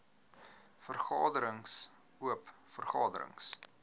vergaderings oop vergaderings